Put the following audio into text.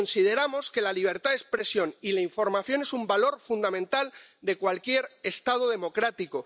Consideramos que la libertad de expresión y la información son un valor fundamental de cualquier Estado democrático.